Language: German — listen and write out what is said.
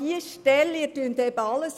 Sie verwechseln eben alles.